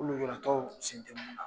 Olu de kila ka taa fɔ ko sen tɛ mun na.